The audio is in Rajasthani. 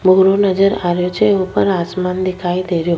भूरो नजर आ रेहो छे ऊपर आसमान दिखाई दे रेहो।